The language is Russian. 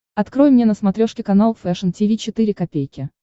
открой мне на смотрешке канал фэшн ти ви четыре ка